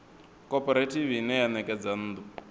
khophorethivi ine ya ṋekedza nnḓu